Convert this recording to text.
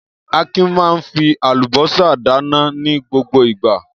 Akin máa ń fi àlùbọ́sà dáná ní gbogbo ìgbà.